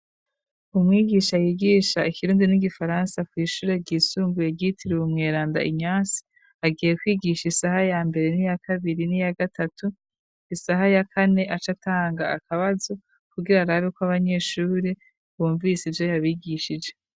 Umwigisha yigisha ikirundi n'igifaransa kw'ishure ryisumbuye ryitiriwe umweranda Inyase, agiye kwigisha isaha ya mbere niya kabiri, niya gatatu, isaha ya kane acatanga akabazo, kugira arabe ko abanyeshuri bumvise ivyo yabigishije.